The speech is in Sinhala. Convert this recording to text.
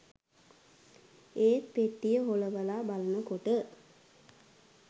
ඒත් පෙට්ටිය හොලවලා බලනකොට